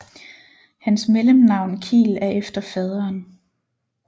Hans mellemnavn Kiel er efter faderen